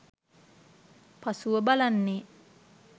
පසුව බලන්නේ